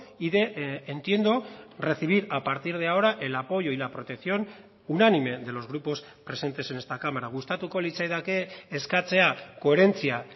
y de entiendo recibir a partir de ahora el apoyo y la protección unánime de los grupos presentes en esta cámara gustatuko litzaidake eskatzea koherentzia